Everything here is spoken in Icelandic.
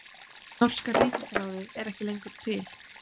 Norska ríkisráðið er ekki til lengur!